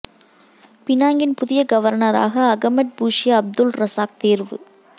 பினாங்கின் புதிய கவர்னராக Ahmad Fuzi Abdul Razak தேர்வு